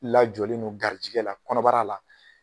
Lajɔlen do garijigɛ la kɔnɔbara la